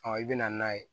i bɛ na n'a ye